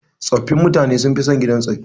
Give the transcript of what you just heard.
Tsofin mutane sun fi son gidan tsofi.